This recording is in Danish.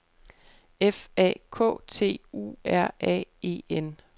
F A K T U R A E N